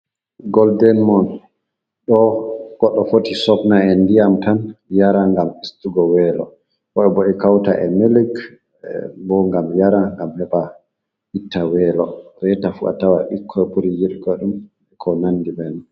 Golden mun. Ɗo goɗɗo foti sofna e ndiyam tan yara, ngam ustugo welo. Woɓe bo e kauta e milic bo ngam yara, ngam heɓa itta welo. Reta fu a tawa bikkoy buri yiɗugo ɗum ko nandi be man.